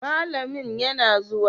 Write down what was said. malamin yana zuwa?